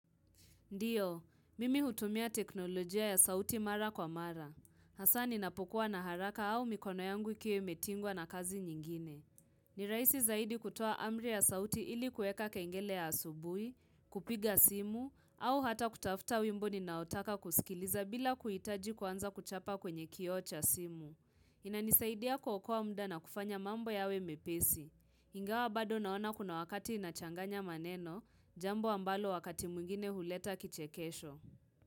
Ndiyo, mimi hutumia teknolojia ya sauti mara kwa mara. Hasa ninapokuwa na haraka au mikono yangu ikiwe imetingwa na kazi nyingine. Ni raisi zaidi kutoa amri ya sauti ili kueka kengele ya asubui, kupiga simu, au hata kutafuta wimbo ninaotaka kusikiliza bila kuitaji kwanza kuchapa kwenye kioo cha simu. Inanisaidia kuokoa mda na kufanya mambo yawe mepesi. Ingawa bado naona kuna wakati inachanganya maneno jambo ambalo wakati mwingine huleta kichekesho.